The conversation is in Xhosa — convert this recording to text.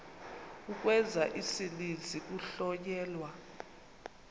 ukwenza isininzi kuhlonyelwa